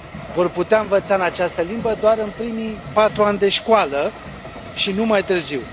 Vor putea învăța în această limbă doar în primii patru ani de școală și nu mai târziu.